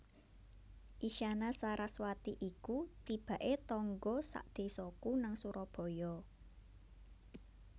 Isyana Saraswati iku tibak e tangga sak desaku nang Surabaya